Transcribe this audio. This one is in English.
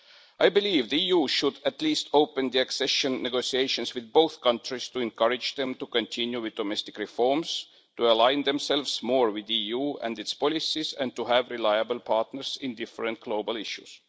I believe the EU should at least open the accession negotiations with both countries to encourage them to continue with domestic reforms, to align themselves more with the EU and its policies, and to have reliable partners in a variety of global issues.